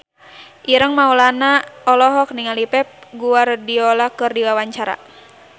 Ireng Maulana olohok ningali Pep Guardiola keur diwawancara